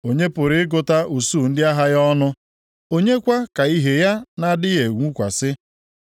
Onye pụrụ ịgụta usuu ndị agha ya ọnụ? Onye kwa ka ìhè ya na-adịghị enwukwasị?